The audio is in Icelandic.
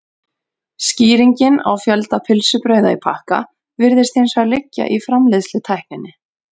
Skýringin á fjölda pylsubrauða í pakka virðist hins vegar liggja í framleiðslutækninni.